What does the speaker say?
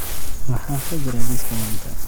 Maxaa ka jira liiska maanta?